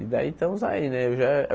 E daí estamos aí, né? Eu já